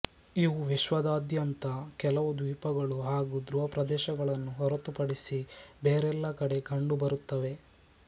ಇವು ವಿಶ್ವದಾದ್ಯಂತ ಕೆಲವು ದ್ವೀಪಗಳು ಹಾಗೂ ಧ್ರುವ ಪ್ರದೇಶಗಳನ್ನು ಹೊರತುಪಡಿಸಿ ಬೇರೆಲ್ಲ ಕಡೆ ಕಂಡುಬರುತ್ತವೆ